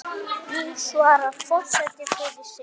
Nú svarar forseti fyrir sig.